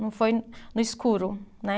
Não foi no escuro, né?